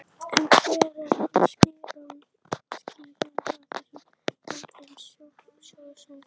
En hver er hans skýring á þessum vandræðum sjóðsins?